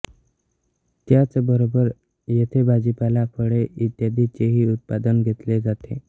त्याचबरोबर येथे भाजीपाला फळे इ चेही उत्पादन घेतले जाते